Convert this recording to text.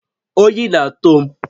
Oyi na-atụ m